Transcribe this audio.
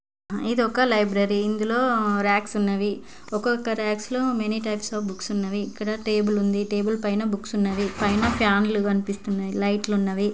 ఇది ఒక లైబ్రరీ ఇందులో రాక్స్ ఉన్నవి . ఒకో ఒకో రాక్ లో మెనీ టైప్స్ అఫ్ బుక్స్ ఉన్నవి ఇక్కడ టేబుల్ ఉన్నదిటేబుల్ పైన బుక్స్ ఉన్నది పైన ఫ్యాన్లు కనిపిస్తున్నాయి లైట్స్ ఉన్నవి .